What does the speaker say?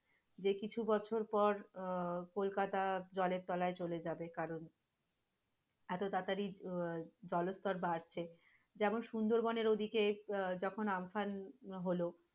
যে কিছু বছর পর কলকাতা জলের তলায় চলে যাবে কারণ, এত তাড়াতাড়ি আহ জল স্তর বাড়ছে, যেমন সুন্দরবনের ওই দিকে যখন আম্ফান হলো,